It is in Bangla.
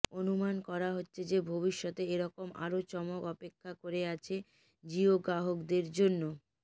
অনুমান করা হছে যে ভবিষ্যতে এরকম আরো চমক অপেক্ষা করে আছে জিও গ্রাহকদের জন্য